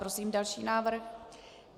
Prosím další návrh.